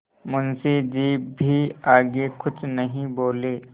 मुंशी जी भी आगे कुछ नहीं बोले